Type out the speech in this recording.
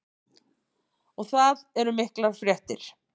Og það eru miklar fréttir.